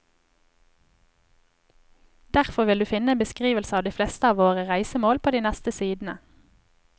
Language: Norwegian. Derfor vil du finne en beskrivelse av de fleste av våre reisemål på de neste sidene.